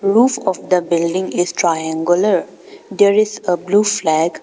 Roof of the building is triangular. There is a blue flag.